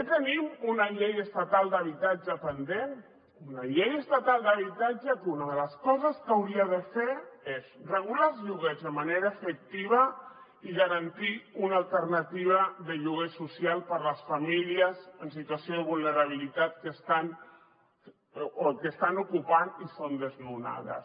també tenim una llei estatal d’habitatge pendent una llei estatal d’habitatge que una de les coses que hauria de fer és regular els lloguers de manera efectiva i garantir una alternativa de lloguer social per a les famílies en situació de vulnerabilitat que estan ocupant i són desnonades